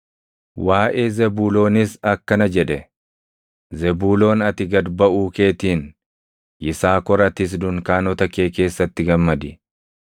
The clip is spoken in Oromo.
Waaʼee Zebuuloonis akkana jedhe: “Zebuuloon ati gad baʼuu keetiin, Yisaakor atis dunkaanota kee keessatti gammadi.